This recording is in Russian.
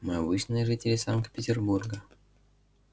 мы обычные жители санкт-петербурга